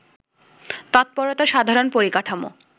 তৎপরতার সাধারণ পরিকাঠামো